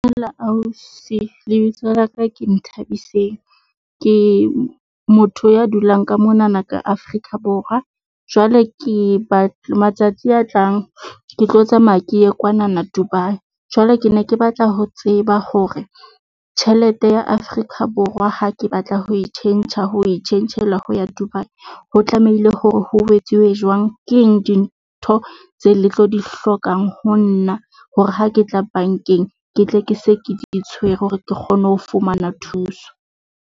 Ausi lebitso laka ke Nthabiseng. Ke motho ya dulang ka monana ka Afrika Borwa. Jwale ke batla matsatsi a tlang, ke tlo tsamaya ke ye kwanana Dubai, Jwale ke ne ke batla ho tseba hore tjhelete ya Afrika Borwa ha ke batla ho e tjhentjha ho tjhentjhela ho ya Dubai. Ho tlamehile hore ho etsuwe jwang keng dintho tse le tlo di hlokang ho nna hore ha ke tla bankeng, ke tle ke se ke di tshwere hore ke kgone ho fumana thuso?